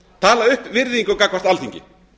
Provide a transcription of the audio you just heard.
tala upp virðingu gagnvart alþingi